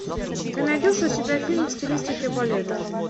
ты найдешь у себя фильм в стилистике балета